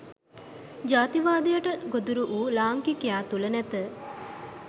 ජාතිකවාදයට ගොදුරු වූ ලාංකිකයා තුළ නැත